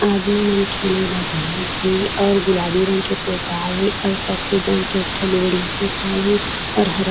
आदमी मन मा जाम छे और गुलाबी रंग की पुताई और सफ़ेद रंग का एकठो बिल्डिंग पोताई और हरा --